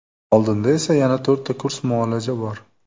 Oldinda esa yana to‘rtta kurs muolaja bor.